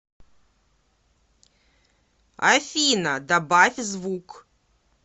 афина добавь звук